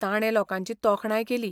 ताणें लोकांची तोखणाय केली.